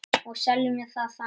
Og seljum það þannig.